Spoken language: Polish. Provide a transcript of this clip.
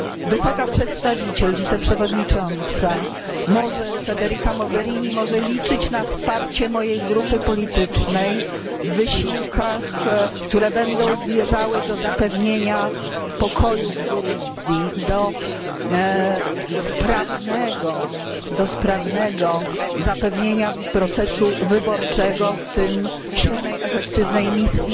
Wysoka przedstawiciel wiceprzewodnicząca Federika Mogherini może liczyć na wsparcie mojej grupy politycznej w wysiłkach, które będą zmierzały do zapewnienia pokoju w Burundi, do sprawnego zapewnienia procesu wyborczego, w tym silnej, efektywnej misji